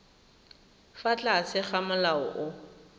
fa tlase ga molao o